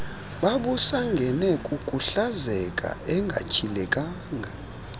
babusangene kukuhlazeka engatyhilekanga